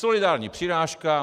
Solidární přirážka.